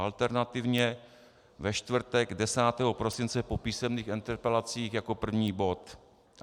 Alternativně ve čtvrtek 10. prosince po písemných interpelacích jako první bod.